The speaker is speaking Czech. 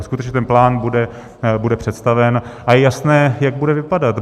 A skutečně ten plán bude představen a je jasné, jak bude vypadat.